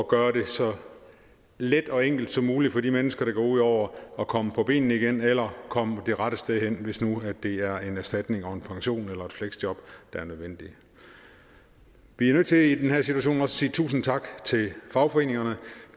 gøre det så let og enkelt som muligt for de mennesker det går ud over at komme på benene igen eller komme det rette sted hen hvis nu det er en erstatning og en pension eller et fleksjob der er nødvendigt vi nødt til i den her situation også at sige tusind tak til fagforeningerne